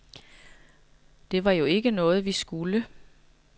Det var jo ikke noget, vi skulle.